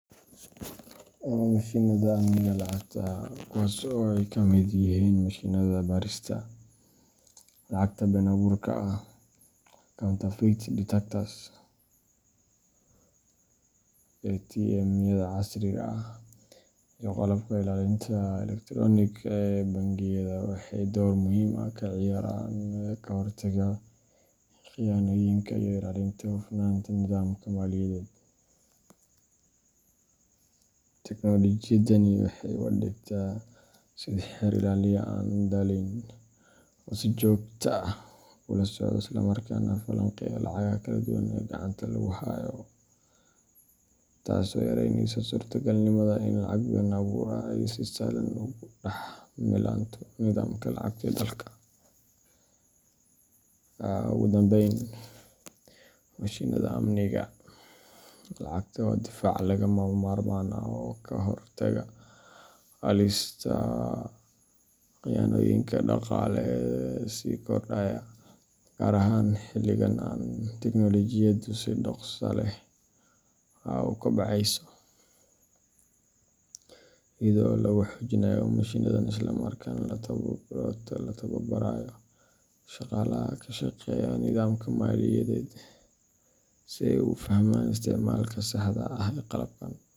Mashiinnada amniga lacagta kuwaas oo ay ka mid yihiin mashiinnada baarista lacagta been-abuurka ah counterfeit detectors, ATM-yada casriga ah, iyo qalabka ilaalinta elektaroonigga ah ee bangiyada waxay door muhiim ah ka ciyaaraan ka hortagga khiyaanooyinka iyo ilaalinta hufnaanta nidaamka maaliyadeed. Teknoolojiyadani waxay u adeegtaa sidii xeer ilaaliye aan daaleyn, oo si joogto ah ula socda isla markaana falanqeeya lacagaha kala duwan ee gacanta lagu hayo, taasoo yareyneysa suurtogalnimada in lacag been-abuur ah ay si sahlan ugu dhex milanto nidaamka lacagta ee dalka. Ugu dambayn, mashiinnada amniga lacagta waa difaac lagama maarmaan ah oo ka hortaga halista khiyaanooyinka dhaqaale ee sii kordhaya, gaar ahaan xilligan ay tiknoolojiyaddu si dhakhso leh u kobcayso. Iyada oo lagu xoojinayo mashiinnadan isla markaana la tababarayo shaqaalaha ka shaqeeya nidaamka maaliyadeed si ay u fahmaan isticmaalka saxda ah ee qalabkan.